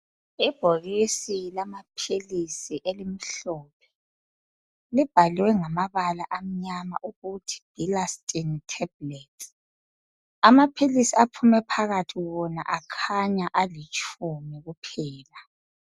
Ibhokisi lamaphilisi elimhlophe , libhalwe ngamabala amnyama ukuthi Bilastine Tablets , amaphilisi aphume phakathi wona akhanya alitshumi kuphela